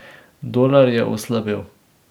Dolar je oslabel.